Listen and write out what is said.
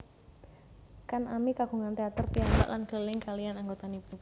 Kan ami kagungan teater piyambak lan keliling kaliyan anggotanipun